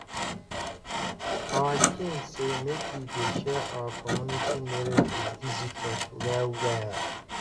our king say make we dey share our community knowledge with visitors well well